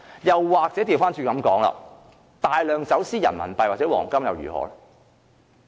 又或反過來說，大量走私人民幣或黃金又如何？